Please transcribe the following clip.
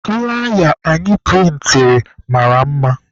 Flaya anyị prịntịrị mara mma.